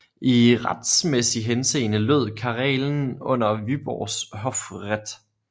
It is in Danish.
I retsmæssig henseende lød Karelen under Vyborgs hofrätt